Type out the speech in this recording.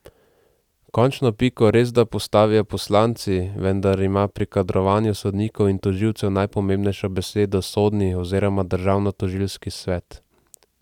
Končno piko resda postavijo poslanci, vendar ima pri kadrovanju sodnikov in tožilcev najpomembnejšo besedo sodni oziroma državnotožilski svet.